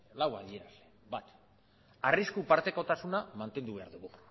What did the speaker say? nagusi lau bat arrisku partekotasuna mantendu behar dela